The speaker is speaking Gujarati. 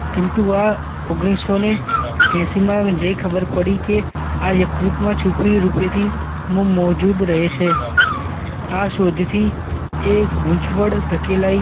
કિન્તુ આ ઓગણી સૌ ને એસીમાં જે ખબર પડી કે આ યકૃતમાં છૂપી રૂપેથી મોજૂદ રહે છે આ શોધથી એ ગૂંચવણ ધકેલાઇ